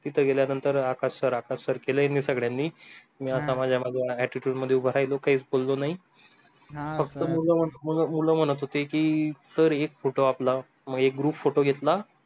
तिथे गेल्यानंतर Akash sir Akash sir केल्याने सगळ्यांनी मी माझ्या attitude मध्ये उभा राहिलो काहीच बोललो नाही हा फक्त मुलं मुलं म्हणत होते की sir एक photo आपला मग एक group photo घेतला